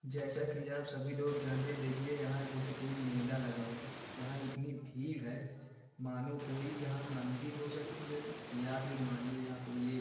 जैसा की आप सभी लोग जानते हैं देखिये यहाँ जैसे कोई मेला लगा हो यहाँ इतनी भीड़ है मानो कोई यहाँ मंदिर हो सकत है या फिर मानिए यहाँ कोई एक --